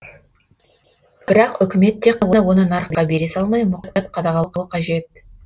бірақ үкімет тек оны нарыққа бере салмай мұқият қадағалауы қажет